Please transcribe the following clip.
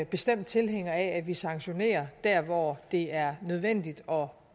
bestemt tilhænger af at vi sanktionerer der hvor det er nødvendigt og